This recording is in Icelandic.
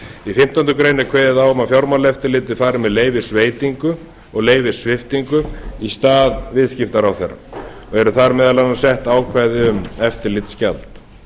í fimmtándu grein er kveðið á um að fjármálaeftirlitið fari með leyfisveitingu og leyfissviptingu í stað viðskiptaráðherra og eru þar meðal annars sett ákvæði um eftirlitsgjald